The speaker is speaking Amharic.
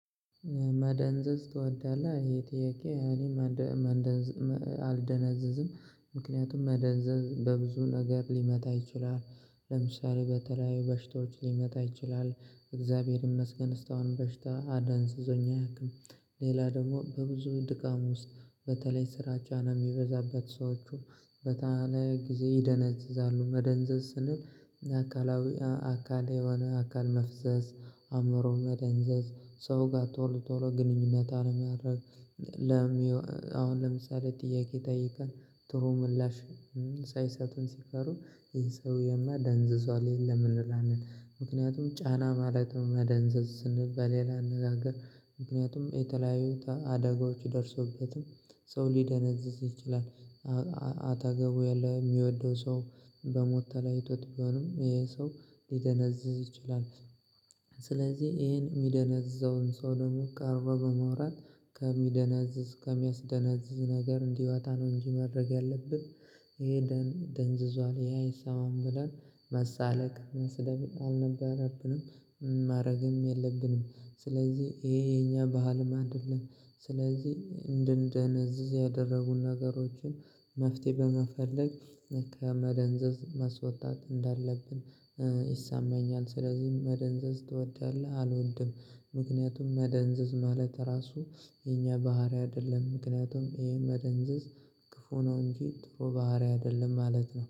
መደንዘዝ ትወዳለህ? ይሄ ጥያቄ እኔ አልደነዘዝም። ምክንያቱም መደንዘዝ በብዙ ነገር ሊመጣ ይችላል። ለምሳሌ በተለያዩ በሽታዎች ሊመጣ ይችላል። እግዚአብሔር ይመስገን እስካሁን በሽታ አደንዝዞኝ አያቅም። ሌላ ደግሞ በብዙ ድካም ውስጥ በተለይ ስራ ጫና የሚበዛበት ሰዎችን በተአነ ጊዜ ይደነዝዛሉ። መደንዘዝ ስንል አካላዊ አካል የሆነ አካል መፍዘዝ፣ አእምሮ መደንዘዝ ሰው ጋር ቶሎ ቶሎ ግንኙነት አለማድረግ፣ አሁን ለምሳሌ ጥያቄ ጠይቀን ጥሩ ምላሽ ሳይሰጡን ሲፈሩ፣ ይህ ሰውየማ ደንዝዟል የለም እንላለን። ምክንያቱም ጫና ማለትም መደንዘዝ ስንል በሌላ አነጋገር ምክንያቱም የተለያዩ አደጋዎች ደርሶበትም ሰው ሊደነዝዝ ይችላል። አጠገቡ ያለ የሚወደው ሰው በሞት ተለያይቶት ቢሆንም ይሄ ሰው ሊደነዝዝ ይችላል። ስለዚህ ይሄን የሚደነዝዘውን ሰው ደግሞ ቀርቦ በማውራት ከሚደነዝዝ ከሚያስደነዝዝ ነገር እንዲወጣ ነው እንጂ ማድረግ ያለብን ይሄ ደንዝዟል ይሄ አይሰማም ብለን መሳለቅ መስደብም አልነበረብንም ማረግም የለብንም። ስለዚህ ይሄ የኛ ባህልም አይደለም። ስለዚህ እንድንደነዝዝ ያደረጉን ነገሮችን መፍትሄ በመፈለግ ከመደንዘዝ መስወጣት እንዳለብን ይሰማኛል። ስለዚህም መደንዘዝ ትወዳለህ? አልወድም። ምክንያቱም መደንዘዝ ማለት ራሱ የኛ ባህሪ አይደለም። ምክንያቱም ይሄ መደንዘዝ ክፉ ነው እንጂ ጥሩ ባህሪ አይደለም ማለት ነው።